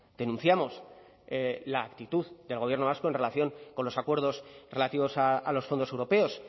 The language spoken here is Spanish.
denunciamos la actitud del gobierno vasco en relación con los acuerdos relativos a los fondos europeos